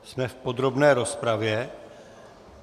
Jsme v podrobné rozpravě.